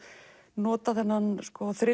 nota þennan